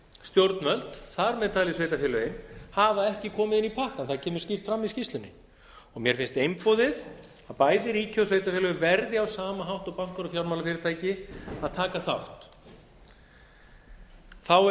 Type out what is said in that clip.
stjórnvöld þar með talið sveitarfélögin hafa ekki komið inn í pakkann það kemur skýrt fram í skýrslunni mér finnst einboðið að bæði ríki og sveitarfélög verði á sama hátt og bankar og fjármálafyrirtæki að taka þátt þá